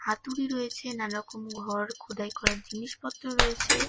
হাতুড়ি রয়েছে নানারকম ঘর খোদাই করার জিনিসপত্র রয়েছে।